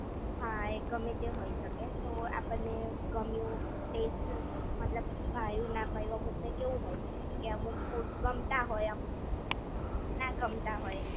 હા એ ગમે તે હોઈ શકે તો આપણને ગમ્યું ટેસ્ટ મતલબ ભાયુ ના ભાયુ અમુક ને કેવું હોય કે અમુક ફૂડ ગમતા હોય અમુક ના ગમતા હોય.